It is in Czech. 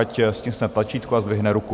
Ať stiskne tlačítko a zdvihne ruku.